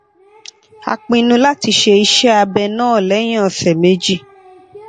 a pinnu láti ṣe ise abẹ náà lẹyìn ọsẹ méjì